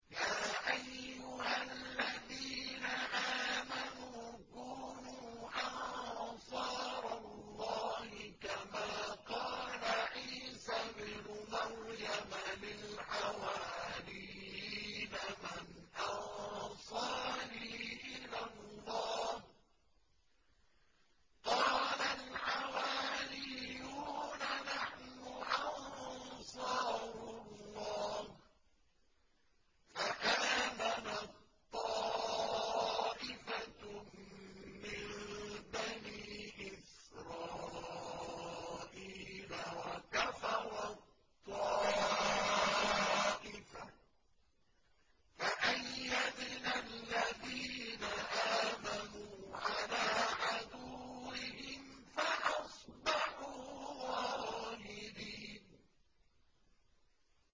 يَا أَيُّهَا الَّذِينَ آمَنُوا كُونُوا أَنصَارَ اللَّهِ كَمَا قَالَ عِيسَى ابْنُ مَرْيَمَ لِلْحَوَارِيِّينَ مَنْ أَنصَارِي إِلَى اللَّهِ ۖ قَالَ الْحَوَارِيُّونَ نَحْنُ أَنصَارُ اللَّهِ ۖ فَآمَنَت طَّائِفَةٌ مِّن بَنِي إِسْرَائِيلَ وَكَفَرَت طَّائِفَةٌ ۖ فَأَيَّدْنَا الَّذِينَ آمَنُوا عَلَىٰ عَدُوِّهِمْ فَأَصْبَحُوا ظَاهِرِينَ